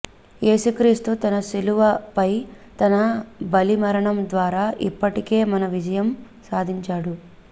యేసుక్రీస్తు తన శిలువపై తన బలి మరణం ద్వారా ఇప్పటికే మన విజయం సాధించాడు